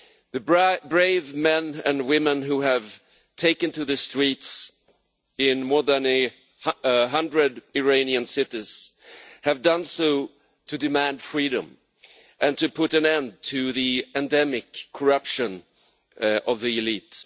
The brave men and women who have taken to the streets in more than 100 Iranian cities have done so to demand freedom, and to put an end to the endemic corruption of the elite.